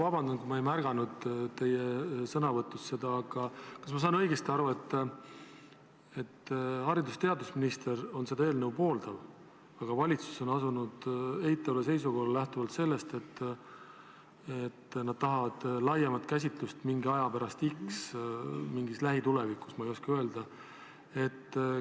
Vabandust, kui ma ei märganud seda teie sõnavõtus, aga kas ma saan õigesti aru, et haridus- ja teadusminister seda eelnõu pooldab, aga valitsus on asunud eitavale seisukohale, lähtuvalt sellest, et nad tahavad laiemat käsitlust mingi aja x pärast, mingis lähitulevikus, ma ei oska öelda, millal?